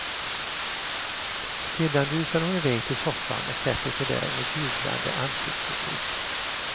Sedan rusar hon iväg till soffan och sätter sig där med jublande ansiktsuttryck.